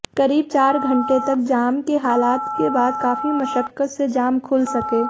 करीब चार घंटे तक जाम के हालात के बाद काफी मशक्कत से जाम खुल सके